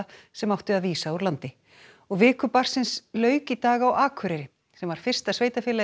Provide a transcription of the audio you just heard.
sem átti að vísa úr landi og viku barnsins lauk í dag á Akureyri sem var fyrsta sveitarfélagið